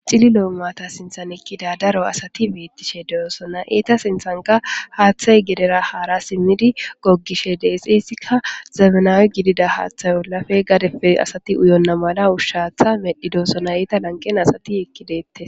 Cilli loomata sinthan ekkida daro asati beettishe deosona eeta sinthanka haaththay gedera haara simmidi gogishe deexeysikka zabnawe gidida haaththayolafe gadepe asati uyonna mala ushshaatha medhi doosona eeta lanqen asati ekkideette